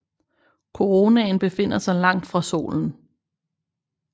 Koronaen befinder sig langt fra solen